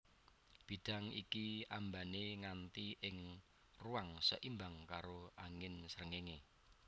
Bidang iki ambané nganti ing ruang seimbang karo angin sréngéngé